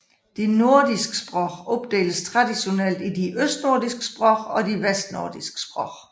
De nordiske sprog opdeles traditionelt i de østnordiske sprog og de vestnordiske sprog